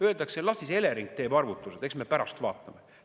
Öeldakse, et las siis Elering teeb arvutused, eks me pärast vaatame.